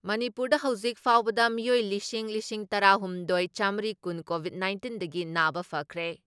ꯃꯅꯤꯄꯨꯔꯗ ꯍꯧꯖꯤꯛ ꯐꯥꯎꯕꯗ ꯃꯤꯑꯣꯏ ꯂꯤꯁꯤꯡ ꯂꯤꯁꯤꯡ ꯇꯔꯥ ꯍꯨꯝꯗꯣꯏ ꯆꯥꯃꯔꯤ ꯀꯨꯟ ꯀꯣꯚꯤꯠ ꯅꯥꯏꯟꯇꯤꯟꯗꯒꯤ ꯅꯥꯕ ꯐꯈ꯭ꯔꯦ ꯫